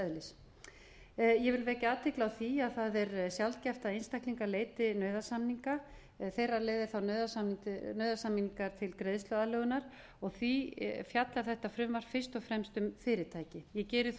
ég vil vekja athygli á því að það er sjálfgert að einstaklingar leiti nauðasamninga til greiðsluaðlögunar og því fjallar þetta frumvarp fyrst og fremst um fyrirtæki ég geri þó